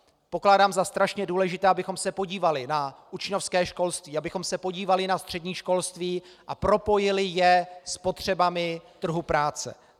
Pokládám za strašně důležité, abychom se podívali na učňovské školství, abychom se podívali na střední školství a propojili je s potřebami trhu práce.